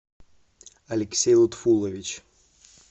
алексей лутфулович